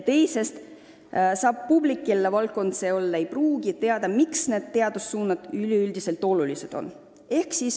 Teisest küljest saab publik, kellele mõni valdkond võib võõras olla, teada, miks üks või teine teadussuund oluline on.